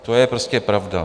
To je prostě pravda.